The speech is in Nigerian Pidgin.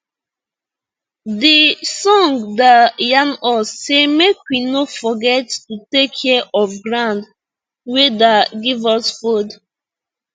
de song da yan us say make we no forget to take care of ground wey da give us fod